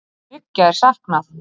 Þriggja er saknað